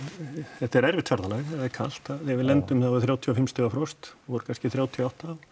þetta er erfitt ferðalag þegar er kalt þegar við lendum þá er þrjátíu og fimm stiga frost voru kannski þrjátíu og átta